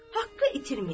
Haqqı itirməyək.